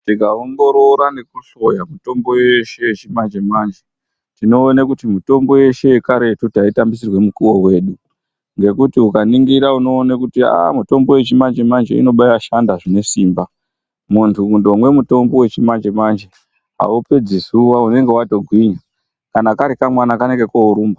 Tinga ongorora nekuhloya mitombo yeshe yechimanje manje tinoone kuti mitombo yeshe yekaretu taitambisirwe mukuwo wedu ngekuti ukaningira unoone kuti aaa mitombo yechimanje manje ino baashande zvine simba munthu ukondomwe mutombo wechimanje manje aupedzi zuwa unenge watogwinya kana kari kamwana kanenge koorumba.